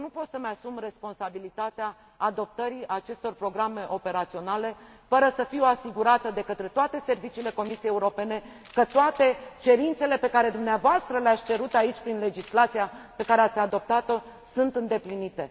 Eu nu pot să îmi asum responsabilitatea adoptării acestor programe operaționale fără să fiu asigurată de către toate serviciile Comisiei Europene că toate cerințele pe care dumneavoastră le ați cerut aici prin legislația pe care ați adoptat o sunt îndeplinite.